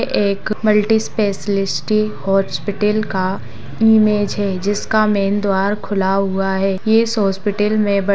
एक multi specialist hospital का image है जिसका मैन द्वार खुला हुआ है ये हॉस्पिटल में--